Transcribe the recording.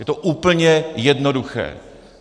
Je to úplně jednoduché.